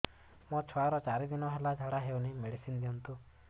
ମୋର ଛୁଆର ଚାରି ଦିନ ହେଲା ଝାଡା ହଉଚି ମେଡିସିନ ଦିଅନ୍ତୁ